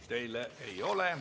Teile küsimusi ei ole.